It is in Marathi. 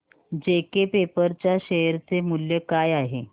जेके पेपर च्या शेअर चे मूल्य काय आहे